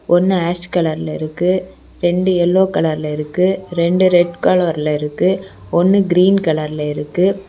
ஒன்னு ஆஷ் கலர்ல இருக்கு. ரெண்டு எல்லோ கலர்ல இருக்கு. ரெண்டு ரெட் கலர் இருக்கு. ஒன்னு கிரீன் கலர்ல இருக்கு.